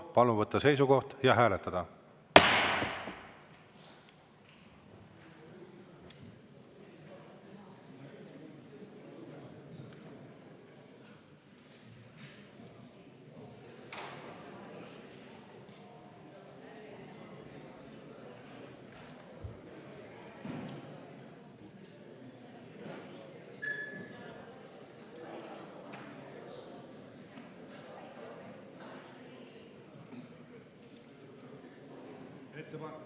Palun võtta seisukoht ja hääletada!